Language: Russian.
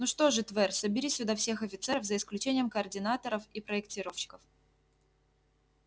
ну что же твер собери сюда всех офицеров за исключением координаторов и проектировщиков